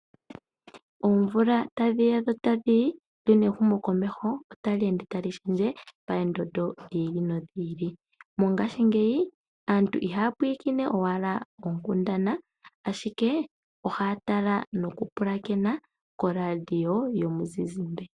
Oomvula tadhiya dho tadhiyi, lyo nehumo komeho otali ende tali shendje poondondo dhi ili nodhi ili. Mongashingeyi aantu ihaya pwiikine owala oonkundana ashike ohaya tala nokupulakena koradio yomuzizimbe.